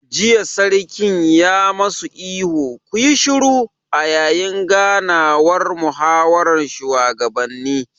Jiya Sarkin ya ma su ihun 'ku yi shiru'! a yayin ganawar muhawaran shugabanni